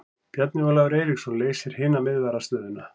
Bjarni Ólafur Eiríksson leysir hina miðvarðarstöðuna.